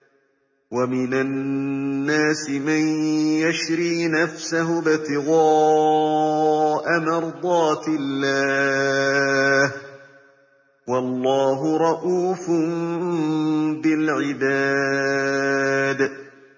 وَمِنَ النَّاسِ مَن يَشْرِي نَفْسَهُ ابْتِغَاءَ مَرْضَاتِ اللَّهِ ۗ وَاللَّهُ رَءُوفٌ بِالْعِبَادِ